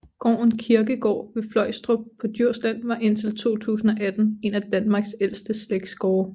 Gården Kirkegaard ved Fløjstrup på Djursland var indtil 2018 en af Danmarks ældste slægtsgårde